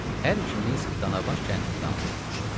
Hər ikimiz Danabaş kəndində anadan olmuşuq.